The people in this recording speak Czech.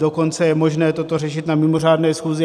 Dokonce je možné toto řešit na mimořádné schůzi.